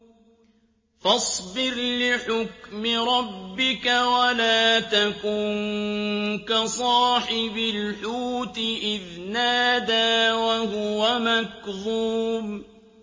فَاصْبِرْ لِحُكْمِ رَبِّكَ وَلَا تَكُن كَصَاحِبِ الْحُوتِ إِذْ نَادَىٰ وَهُوَ مَكْظُومٌ